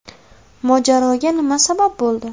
Mojaroga nima sabab bo‘ldi?